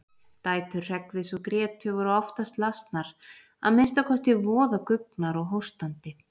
Dætur Hreggviðs og Grétu voru oftast lasnar, að minnsta kosti voða guggnar og hóstandi.